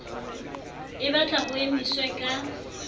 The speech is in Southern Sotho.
e balta ho emiswe ka